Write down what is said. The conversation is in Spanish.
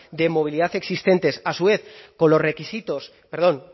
de movilidad existentes a su vez con los requisitos perdón